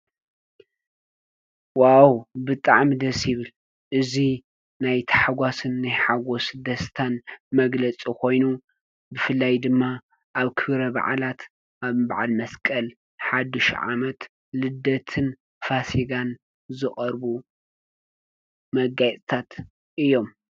ዋው! ብጣዕሚ ደስ ይብል። እዚ ናይ ታሕጓስን ናይ ሓጎስ ድስታን መግለፂ ኾይኑ ብፍላይ ድማ ኣብ ክብረ በዓላት ከም በዓል መስቀል፣ ሓዱሽ ዓመት፣ ልደትን ፋሲካን ዝቀርቡ መጋየፅታት እዮም።